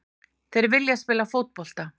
Þeir vilja spila fótbolta.